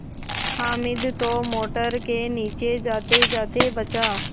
हामिद तो मोटर के नीचे जातेजाते बचा